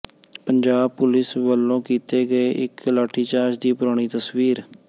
Punjab police ਵੱਲੋਂ ਕੀਤੇ ਗਏ ਇੱਕ ਲਾਠੀਚਾਰਜ ਦੀ ਪੁਰਾਣੀ ਤਸਵੀਰ